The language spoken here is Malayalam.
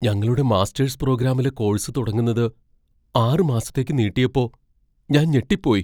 ഞങ്ങളുടെ മാസ്റ്റേഴ്സ് പ്രോഗ്രാമിലെ കോഴ്സ് തുടങ്ങുന്നത് ആറ് മാസത്തേക്ക് നീട്ടിയപ്പോ ഞാൻ ഞെട്ടിപ്പോയി.